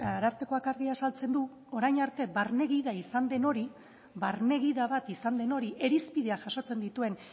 arartekoak argi azaltzen du orain arte barne gida izan den hori irizpideak jasotzen dituen